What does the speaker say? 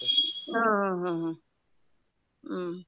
ಹ್ಮ್ ಹ್ಮ್ ಹ್ಮ್ ಹ್ಮ್ ಹ್ಮ್ .